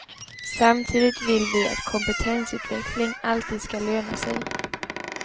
Samtidigt vill vi att kompetensutveckling alltid ska löna sig.